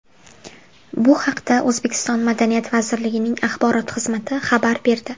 Bu haqda O‘zbekiston Madaniyat vazirligining axborot xizmati xabar berdi.